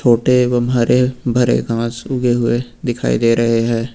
छोटे एवं हरे भरे घास उगे हुए दिखाई दे रहे हैं।